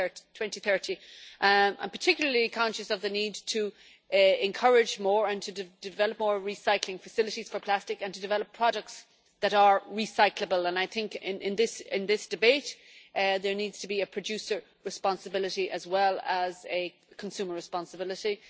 2030. I am particularly conscious of the need to encourage more and to develop more recycling facilities for plastic and to develop products that are recyclable, and I think in this debate there needs to be a producer responsibility as well as a consumer responsibility.